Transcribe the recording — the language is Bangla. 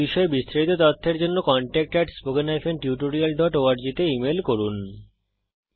এই বিষয়ে বিস্তারিত তথ্যের জন্য contactspoken tutorialorg তে ইমেল করুন